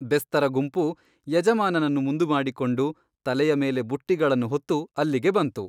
ಬೆಸ್ತರ ಗುಂಪು ಯಜಮಾನನನ್ನು ಮುಂದುಮಾಡಿಕೊಂಡು ತಲೆಯ ಮೇಲೆ ಬುಟ್ಟಿಗಳನ್ನು ಹೊತ್ತು ಅಲ್ಲಿಗೆ ಬಂತು.